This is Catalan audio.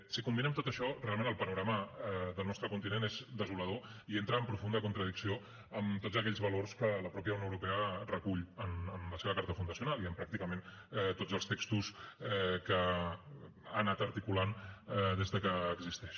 si combinem tot això realment el panorama del nostre continent és desolador i entra en profunda contradicció amb tots aquells valors que la mateixa unió europea recull en la seva carta fundacional i en pràcticament tots els textos que ha anat articulant des que existeix